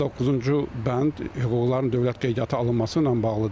Doqquzuncu bənd hüquqların dövlət qeydiyyata alınması ilə bağlıdır.